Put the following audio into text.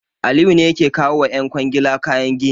Aliyu ne yake kawo wa ƴan kwangila kayan gini.